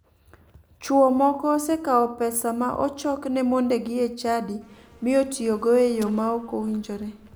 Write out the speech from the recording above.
Chuo moko osekao pesa ma ochokne mondegi e chadi mi otiyogo e yo ma ok owinjore.